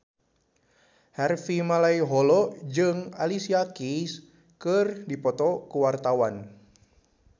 Harvey Malaiholo jeung Alicia Keys keur dipoto ku wartawan